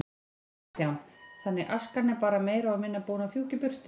Kristján: Þannig askan er bara meira og minna búin að fjúka í burtu?